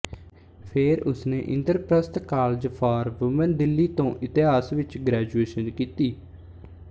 ਫੇਰ ਉਸਨੇ Indraprastha college for women Delhi ਤੋਂ ਇਤਿਹਾਸ ਵਿੱਚ ਗ੍ਰੈਜੁਏਸ਼ਨ ਕੀਤੀ